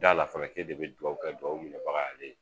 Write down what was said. Da a la fana k'e de ye dugawu kɛ, dugawu minɛbaga y'ale ye.